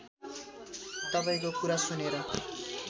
तपाईँको कुरा सुनेर